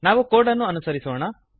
ನಾವು ಕೋಡನ್ನು ಅನುಸರಿಸೋಣ